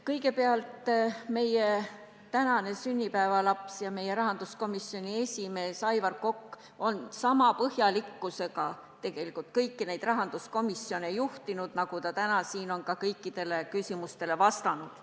Kõigepealt, meie tänane sünnipäevalaps ja rahanduskomisjoni esimees Aivar Kokk on sama põhjalikkusega kõiki neid rahanduskomisjoni istungeid juhtinud, nagu ta täna siin on kõikidele küsimustele vastanud.